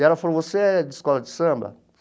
E ela falou, você é de escola de samba?